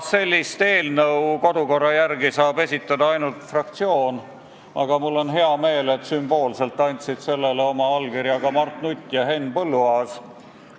Sellist eelnõu saab kodukorra järgi esitada ainult fraktsioon, aga mul on hea meel, et sümboolselt andsid sellele oma allkirja ka Mart Nutt ja Henn Põlluaas.